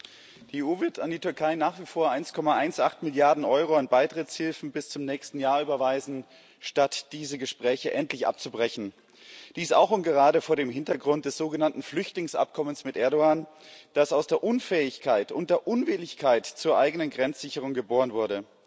Herr Präsident! Die EU wird an die Türkei nach wie vor 1,18 Milliarden EUR an Beitrittshilfen bis zum nächsten Jahr überweisen, statt diese Gespräche endlich abzubrechen. Dies auch und gerade vor dem Hintergrund des sogenannten Flüchtlingsabkommens mit Erdoğan, das aus der Unfähigkeit und der Unwilligkeit zur eigenen Grenzsicherung geboren wurde.